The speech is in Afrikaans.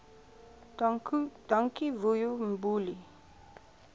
dankie vuyo mbuli